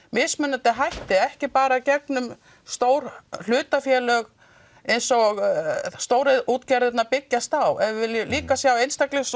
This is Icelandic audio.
mismunandi hætti ekki bara gegnum stór hlutafélög eins og stóru útgerðirnar byggjast á ef við viljum líka sjá einstaklinga